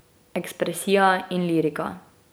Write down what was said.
Ekspresija in lirika.